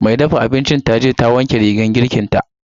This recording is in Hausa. mai dafa abincin taje ta wanke rigar girkinta.